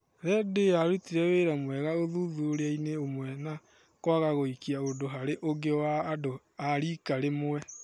rendio yarutire wĩra mwega ũthuthuriainĩ ũmwe na kwaga gũĩka ũndũ harĩ ũngĩ wa andũ a rika rĩmwe.